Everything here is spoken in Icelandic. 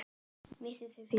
Virti þau fyrir sér.